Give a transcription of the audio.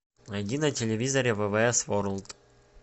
найди на телевизоре ввс ворлд